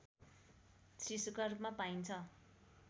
शिशुका रूपमा पाइन्छ